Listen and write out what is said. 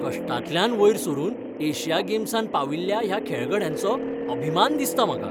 कश्टांतल्यान वयर सरून एशिया गेम्सांत पाविल्ल्या ह्या खेळगड्यांचो अभिमान दिसता म्हाका.